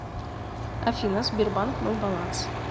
афина сбербанк мой баланс